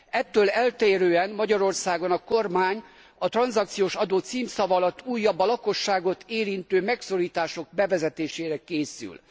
Ettől eltérően Magyarországon a kormány a tranzakciós adó címszava alatt újabb, a lakosságot érintő megszorítások bevezetésére készül.